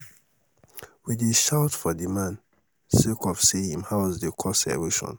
we dey shout for di man sake of sey im house dey cause erosion.